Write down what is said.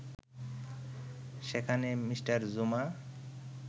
সেখানে মি. জুমা